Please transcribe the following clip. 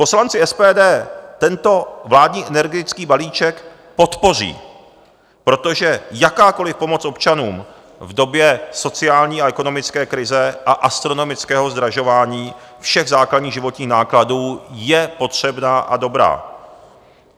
Poslanci SPD tento vládní energetický balíček podpoří, protože jakákoliv pomoc občanům v době sociální a ekonomické krize a astronomického zdražování všech základních životních nákladů je potřebná a dobrá.